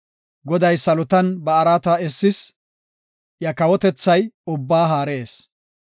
Goday salotan ba araata essis; iya kawotethay ubbaa haarees.